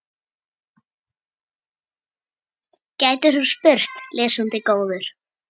gætir þú spurt, lesandi góður.